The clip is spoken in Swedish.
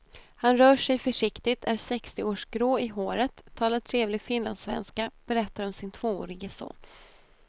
Han rör sig försiktigt, är sextioårsgrå i håret, talar trevlig finlandssvenska, berättar om sin tvåårige son.